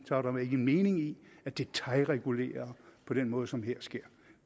der vel ikke mening i at detailregulere på den måde som her sker